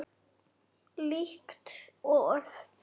Líkt og